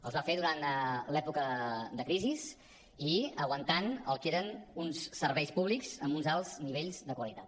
els va fer durant l’època de crisi i aguantant el que eren uns serveis públics amb uns alts nivells de qualitat